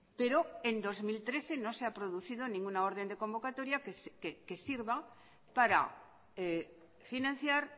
pero en dos mil trece no se ha producido ninguna orden de convocatoria que sirva para financiar